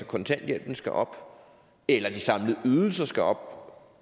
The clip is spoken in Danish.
kontanthjælpen skal op eller de samlede ydelser skal op